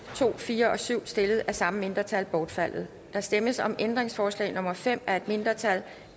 to fire og syv stillet af samme mindretal bortfaldet der stemmes om ændringsforslag nummer fem af et mindretal